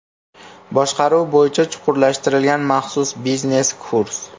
Boshqaruv bo‘yicha chuqurlashtirilgan maxsus biznes kurs.